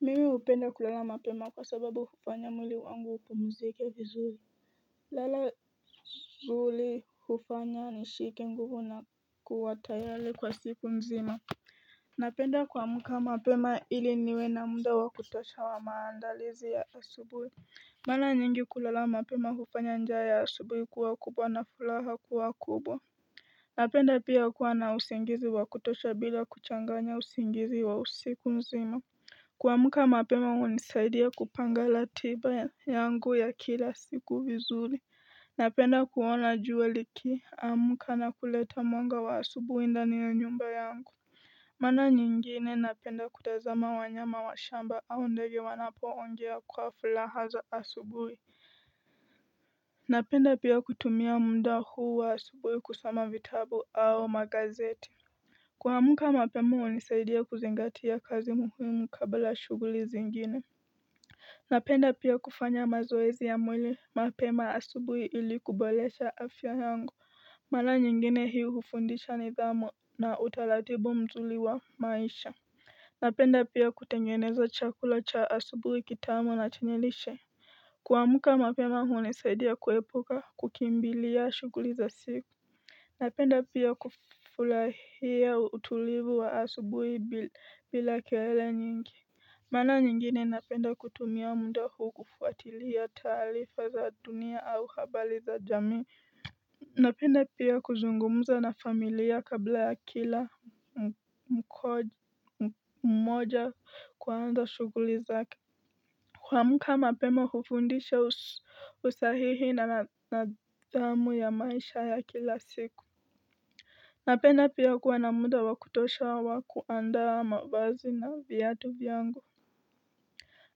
Mimi upenda kulala mapema kwa sababu kupanya muli wangu kwa muzike vizuli Lala zuli hufanya ni shiki nguvu na kuwatayali kwa siku nzima Napenda kwa muka mapema ili niwe na muda wa kutosha wa maandalizi ya asubui maana nyingi kulala mapema kupanya njaya ya asubui kuwa kubwa na fulaha kuwa kubwa Napenda pia kuwa na usingizi wa kutosha bila kuchanganya usingizi wa usiku nzima Kwa muka mapema unisaidia kupangala tiba yangu ya kila siku vizuli Napenda kuona juwa liki amuka na kuleta mwanga wa asubu inda niyo nyumba yangu Mana nyingine napenda kutazama wanyama wa shamba au ndege wanapo ongea kwa fulahazo asubuwi Napenda pia kutumia munda huu wa asubuwi kusama vitabu au magazeti Kwa muka mapema unisaidia kuzingatia kazi muhimu kabla shuguli zingine Napenda pia kufanya mazoezi ya mwili mapema asubuhi ili kubalesha afya yangu Mala nyingine hiu hufundisha ni dhamu na utalatibo mzuli wa maisha Napenda pia kutenyweneza chakula cha asubuhi kitamu natenyelishe Kwa muka mapema unisaidia kuepoka kukimbilia shuguli za siku Napenda pia kufularia utulivu wa asubuhi bila keele nyingi Mana nyingine napenda kutumia muda huu kufuatilia talifa za dunia au habali za jamii Napenda pia kuzungumza na familia kabla ya kila mkoja kwaanza shuguli za kwa mkama pema kufundisha usahihi na nadamu ya maisha ya kila siku Napenda pia kuwa na muda wa kutosha wa kuandaa mavazi na vyatu vyango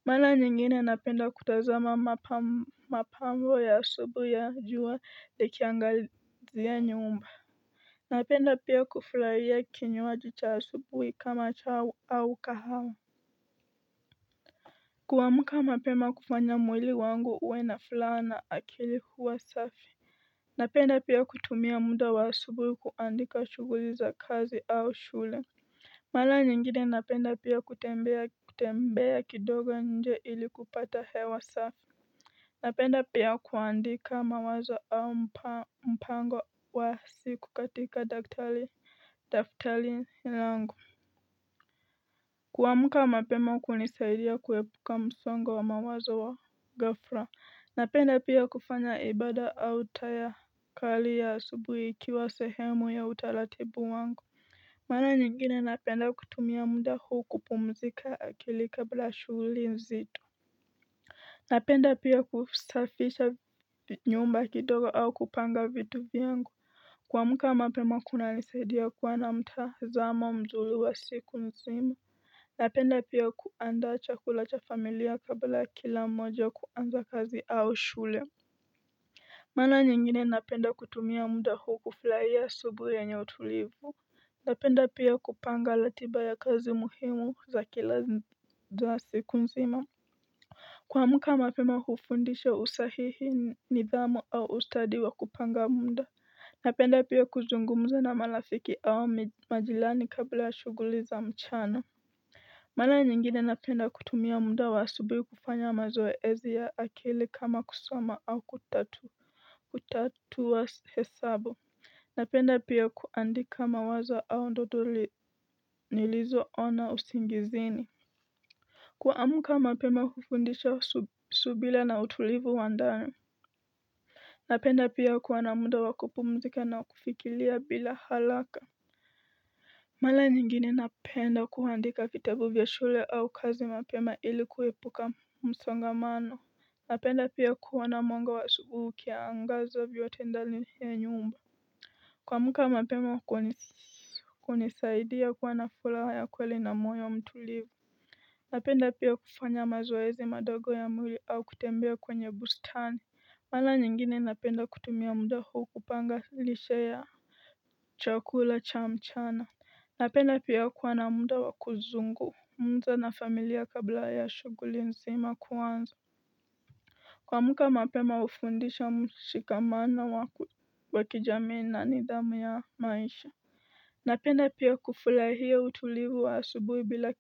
Mara nyingine napenda kutazama mapambo ya asubui ya jua le kiangalizia nyumba Napenda pia kuflaria kinyuwa jicha asubui kama chao au kahao Kuamka mapema kufanya mwili wangu uwe na fulana akili huwa safi Napenda pia kutumia muda wa asubi kuandika shughuli za kazi au shule Mara nyingine napenda pia kutembea kidogo nje ili kupata hewa safi Napenda pia kuandika mawazo au mpango wa siku katika daftali nilangu Kuwamka mapema kunisaidia kuwebuka msongo wa mawazo wa gafra Napenda pia kufanya ibada au tayakali asubuhi ikiwa sehemu ya utalatibu wangu Mana nyingine napenda kutumia muda huu kupumzika akili kabla shughuli nzito Napenda pia kusafisha nyomba kidogo au kupanga vitu viyangu amka mapema kuna nisadia kuwana mtazamo mzuri wa siku nzimu Napenda pia kuanda chakula cha familia kabla kila moja kuanza kazi au shule Mara nyingine napenda kutumia munda huu kufurahi asubuhi enye utulivu napenda pia kupanga ratiba ya kazi muhimu za kila za siku nzima amka mapema hufundisha usahihi nidhamu au ustadi wa kupanga munda Napenda pia kuzungumza na marafiki au majilani kabla ya shuguli za mchana Mana nyingine napenda kutumia muda wa subi kufanya mazoezi ya akili kama kusama au kutatuwa hesabu napenda pia kuandika mawazo au ndodo nilizo ona usingizini kuamka mapema kufundisha subila na utulivu wa ndani napenda pia kuwa na muda wakupumzika na kufikiria bila haraka mala nyingine napenda kuandika vitabu vya shule au kazi mapema ili kuwepuka msangamano napenda pia kuoana mwanga wa asubuhi kiaangaza vyo tendali ya nyumba Kuamka mapema huko nisaidi ya kuwa na furaha ya kweli na moyo mtulivu Napenda pia kufanya mazoezi madogo ya mwili au kutembea kwenye bustani Mala nyingine napenda kutumia muda huu kupanga lishe ya chakula cha mchana Napenda pia kuwa na muda wakuzungu mungza na familia kabla ya shuguli nseima kuanzo Kwa muka mapema ufundisha mshikamana wakijamii na nidhamu ya maisha Napenda pia kufulahia utulivu wa asubui bila ki.